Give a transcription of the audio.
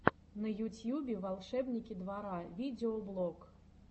на ютьюбе волшебники двора видеоблог